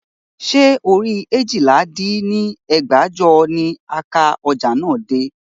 Ṣé orí eéjìlá dín ní ẹgbẹ́jọ ni ó ka ọjà náà dé?